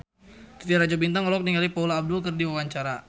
Titi Rajo Bintang olohok ningali Paula Abdul keur diwawancara